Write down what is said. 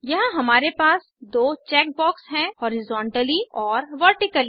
यहाँ हमारे पास दो चेक बॉक्स हैं हॉरिज़ोंटली और वर्टिकली